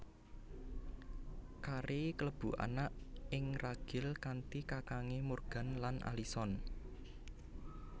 Carey kalebu anak ing ragil kanthi kakange Morgan lan Alison